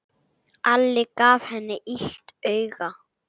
Alli gaf henni illt auga.